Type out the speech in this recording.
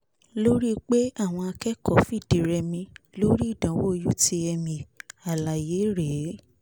lórí pé àwọn akẹ́kọ̀ọ́ fìdí rẹmi nínú ìdánwò utmẹ àlàyé rè é